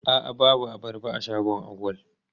A'a babu abarba a shagon Auwal.